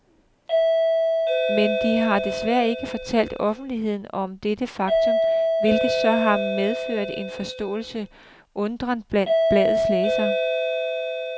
Men de har desværre ikke fortalt offentligheden om dette faktum, hvilket så har medført en forståelig undren blandt bladets læsere.